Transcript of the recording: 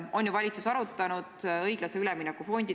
Küllap valitsus on arutanud õiglase ülemineku fondi puutuvat.